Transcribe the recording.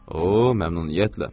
O, məmnuniyyətlə!